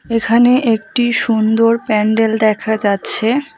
এখানে একটি সুন্দর প্যান্ডেল দেখা যাচ্ছে।